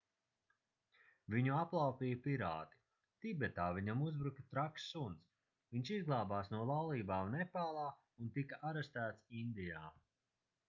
viņu aplaupīja pirāti tibetā viņam uzbruka traks suns viņš izglābās no laulībām nepālā un tika arestēts indijā